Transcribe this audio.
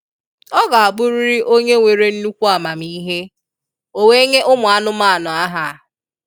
Ọ ga abụrịrị onye nwere nnukwu amamihe, o wee nye ụmụ anụmanụ aha.